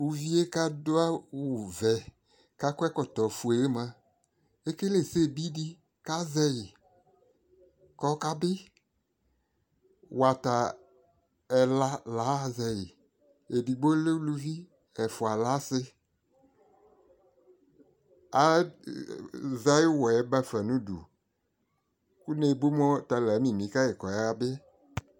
uvie ko ado awo vɛ ko akɔ ɛkɔtɔ fue yɛ moa ekele ɛsɛ bi di ko azɛ yi ko ɔka bi wata ɛla la aɣa zɛ yi edigbo lɛ uluvi ɛfoa le ase azɛ ayi uwɔɛ ba fa no udu ko ne bu moa ɔta la amimi kayi ko ɔya bi